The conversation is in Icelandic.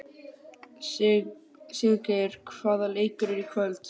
Siggeir, hvaða leikir eru í kvöld?